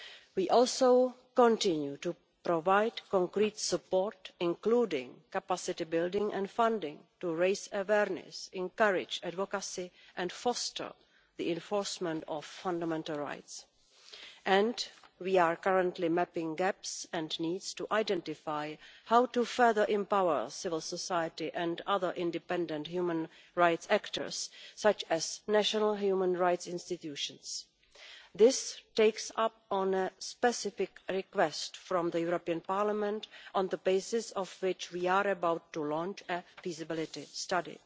We also continue to provide concrete support, including capacity building and funding, to raise awareness, encourage advocacy and foster the enforcement of fundamental rights, and we are currently mapping gaps and needs to identify how to further empower civil society and other independent human rights actors, such as national human rights institutions. This takes up a specific request from the European Parliament, on the basis of which we are about to launch a feasibility study.